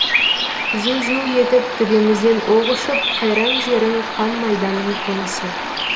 зу зу етіп төбемізден оқ ұшып қайран жерің қан майданның қонысы